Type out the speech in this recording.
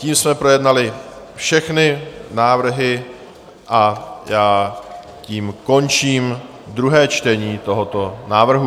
Tím jsme projednali všechny návrhy a já tím končím druhé čtení tohoto návrhu.